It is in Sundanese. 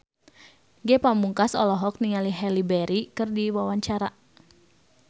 Ge Pamungkas olohok ningali Halle Berry keur diwawancara